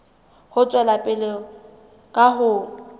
ho tswela pele ka ho